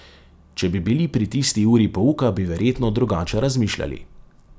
Če bi bili pri tisti uri pouka, bi verjetno drugače razmišljali.